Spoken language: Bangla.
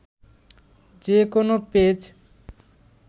যে কোনো পেজ